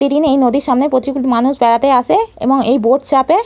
পিদিনেই নদীর সামনে প্রচুর মানুষ বেড়াতে আসে এবং এই বোট চাপে--